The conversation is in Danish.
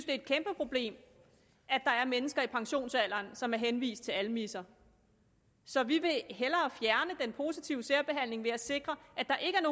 er et kæmpeproblem at der er mennesker i pensionsalderen som er henvist til almisser så vi vil hellere fjerne den positive særbehandling ved at sikre at der ikke